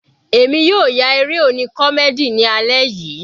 Èmi yóò ya eré oní comdey ni alẹ́ yìí.